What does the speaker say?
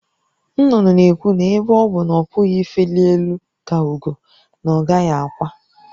Nnụnụ na-ekwu na ebe ọ bụ na ọ pụghị ifeli elu ka ugo, na ọ gaghị akwa.